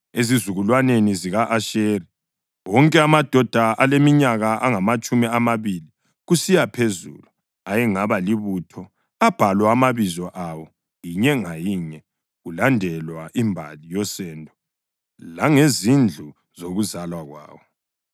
Ezizukulwaneni zika-Asheri: Wonke amadoda aleminyaka angamatshumi amabili kusiya phezulu ayengaba libutho abhalwa amabizo awo, inye ngayinye, kulandelwa imbali yosendo langezindlu zokuzalwa kwawo.